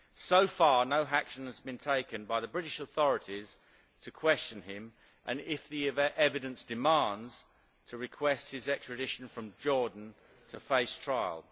So far, no action has been taken by the British authorities to question him and, if the evidence so demands, to request his extradition from Jordan to face trial.